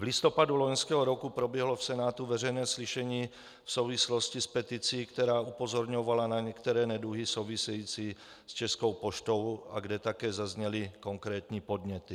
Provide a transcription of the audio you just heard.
V listopadu loňského roku proběhlo v Senátu veřejné slyšení v souvislosti s peticí, která upozorňovala na některé neduhy související s Českou poštou, a kde také zazněly konkrétní podněty.